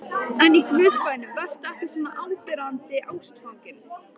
En í Guðs bænum vertu ekki svona áberandi ástfanginn.